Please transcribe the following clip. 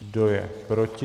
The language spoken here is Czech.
Kdo je proti?